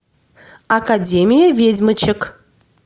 академия ведьмочек